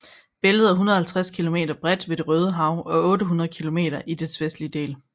Bæltet er 150 kilometer bredt ved Det Røde Hav og 800 kilometer i dets vestlige del